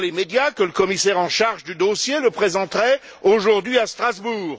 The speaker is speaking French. On dit dans les médias que le commissaire en charge du dossier le présenterait aujourd'hui à Strasbourg.